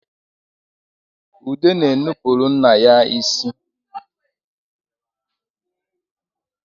Ude na-anụpụrụ nna ya isi